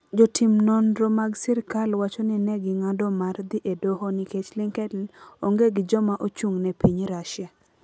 Jotim nonro mag sirkal wacho ni ne ging'ado mar dhi e Doho nikech LinkedIn onge gi joma ochung'ne e piny Russia.